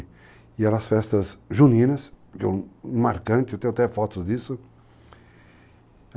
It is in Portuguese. E eram as festas juninas, marcante, eu tenho até fotos disso.